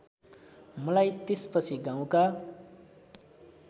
मलाई त्यसपछि गाउँका